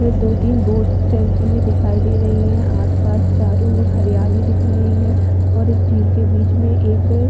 दो-तीन बोट्स चलती हुई दिखाई दे रही है आस-पास चारो ओर हरियाली दिख रही है और इस झील के बीच में एक--